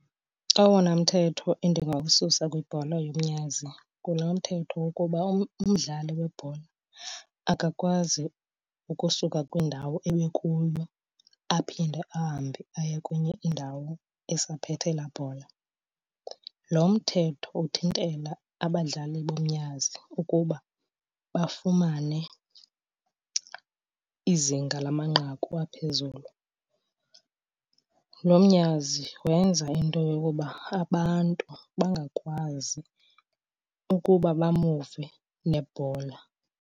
Owona mthetho endingawususa kwibhola yomnyazi ngulo mthetho wokuba umdlali webhola akakwazi ukusuka kwindawo ebekuyo aphinde ahambe aye kwenye indawo esaphethe laa bhola. Lo mthetho uthintela abadlali bomnyazi ukuba bafumane izinga lamanqaku aphezulu. Lo mnyazi wenza into yokuba abantu bangakwazi ukuba bamuve nebhola.